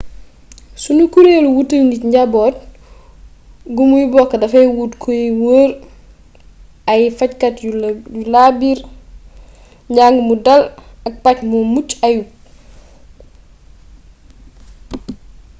sunu kureelu wutal nit njaboot gu muy bokk dafay wut kë y wóor ay fajkat yu laa biir njàng mu dal ak paj mu mucc ayub